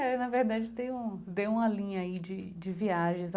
É, na verdade, tem um deu uma linha aí de de viagens.